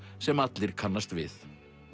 sem allir kannast við